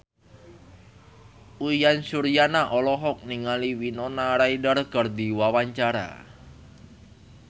Uyan Suryana olohok ningali Winona Ryder keur diwawancara